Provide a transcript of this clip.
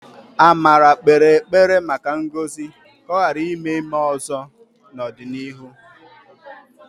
Amara kpere ekpere maka ngọzi ka ọ ghara ime ime ọzọ n'ọdịnihu.